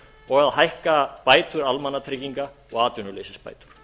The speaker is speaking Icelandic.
og að hækka bætur almannatrygginga og atvinnuleysisbætur